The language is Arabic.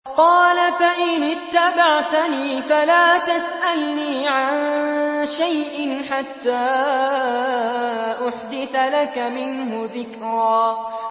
قَالَ فَإِنِ اتَّبَعْتَنِي فَلَا تَسْأَلْنِي عَن شَيْءٍ حَتَّىٰ أُحْدِثَ لَكَ مِنْهُ ذِكْرًا